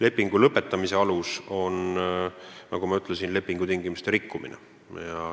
Lepingu lõpetamise alus on, nagu ma ütlesin, lepingutingimuste rikkumine.